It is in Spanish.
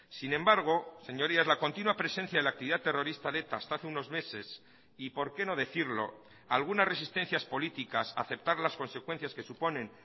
sin embargo señorías la continua presencia de la actividad terrorista de eta hasta hace unos meses y por qué no decirlo algunas resistencias políticas aceptar las consecuencias que suponen